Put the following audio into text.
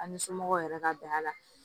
An ni somɔgɔw yɛrɛ ka bɛn a la